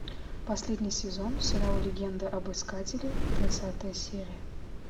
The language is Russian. последний сезон сериал легенда об искателе тридцатая серия